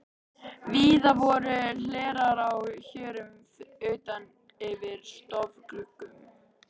Víða voru hlerar á hjörum utan yfir stofugluggum.